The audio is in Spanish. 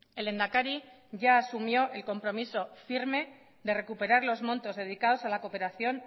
el lehendakari ya asumió el compromiso firme de recuperar los montos dedicados a la cooperación